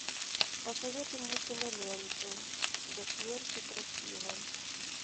посоветуй мне киноленту до смерти красива